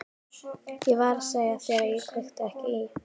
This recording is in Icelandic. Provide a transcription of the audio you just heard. Ég var að segja þér að ég kveikti ekki í.